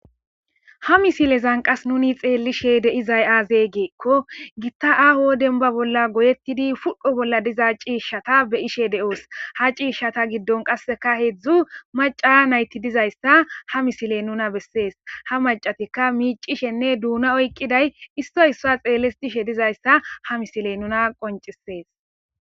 Ha misilezan qas nuni xeellishe deizay aazey geekko gitta aaho denba bolla goyettidi fudhdho bolla diza ciishshata be ishe de;oos ha ciishshata giddon qasseka heedzdzu maca nayti dizayssa ha misile nuna bessees ha macatikka miicishenne duuna oykqiday issoy issa xeellis tishe dizayssa ha misiley nuna qoncisees.